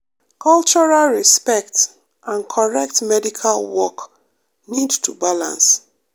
cultural respect and correct medical work need to balance.